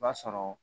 B'a sɔrɔ